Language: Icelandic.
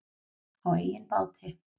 Á eigin báti.